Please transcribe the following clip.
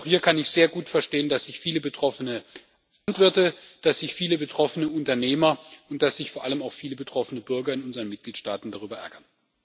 Auch hier kann ich sehr gut verstehen, dass sich viele betroffene Landwirte, viele betroffene Unternehmer und vor allem auch viele betroffene Bürger in unseren Mitgliedstaaten darüber ärgern.